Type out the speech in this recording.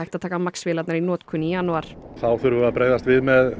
hægt að taka MAX vélarnar í notkun í janúar þá þurfum við að bregðast við með